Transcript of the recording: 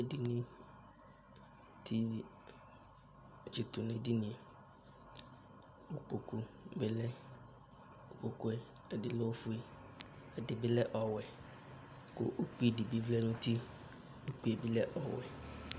Edini dɩ atsɩtʋ nʋ edini yɛ kʋ kpoku bɩ lɛ Kʋ kpoku yɛ, ɛdɩ lɛ ofue, ɛdɩ bɩ lɛ ɔwɛ kʋ ukpi dɩ bɩ vlɛ nʋ uti Ukpi yɛ bɩ lɛ ɔwɛ